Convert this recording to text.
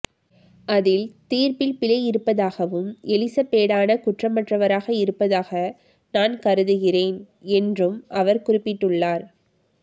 அதில் தீர்ப்பில் பிழை இருப்பதாகவும் எலிசெபேடான குற்றமற்றவராக இருப்பதாக நான் கருதுகிறேன் என்றும் அவர் குறிப்பிட்டுள்ளார்